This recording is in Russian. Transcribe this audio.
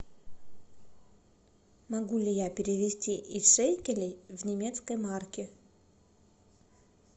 могу ли я перевести из шекелей в немецкие марки